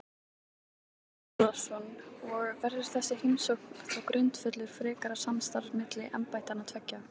Þorbjörn Þórðarson: Og verður þessi heimsókn þá grundvöllur frekara samstarfs milli embættanna tveggja?